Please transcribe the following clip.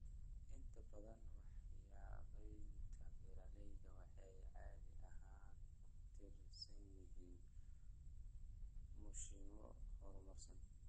Inta badan waxqabadyada beeralayda waxay caadi ahaan ku tiirsan yihiin mashiinno horumarsan.